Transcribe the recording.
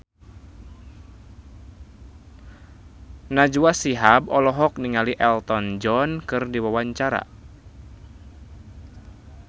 Najwa Shihab olohok ningali Elton John keur diwawancara